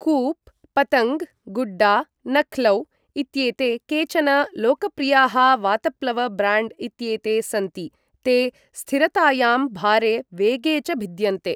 कुप्, पतङ्ग्, गुड्डा, नख्लौ इत्येते केचन लोकप्रियाः वातप्लव ब्राण्ड् इत्येते सन्ति, ते स्थिरतायां, भारे, वेगे च भिद्यन्ते।